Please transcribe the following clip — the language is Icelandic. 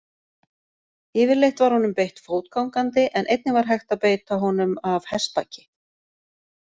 Yfirleitt var honum beitt fótgangandi en einnig var hægt að beita honum af hestbaki.